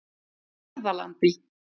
Hörðalandi